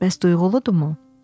Bəs duyğuludurmu?